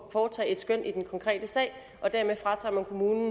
at foretage et skøn i den konkrete sag og dermed fratager man kommunen